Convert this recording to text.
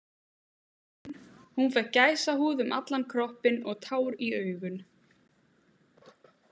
Hún fékk gæsahúð um allan kroppinn og tár í augun.